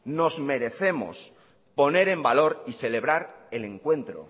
nos merecemos poner en valor y celebrar el encuentro